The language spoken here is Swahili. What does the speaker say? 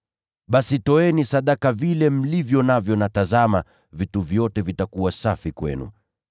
Basi toeni sadaka ya vile mlivyo navyo, na tazama, vitu vyote vitakuwa safi kwenu.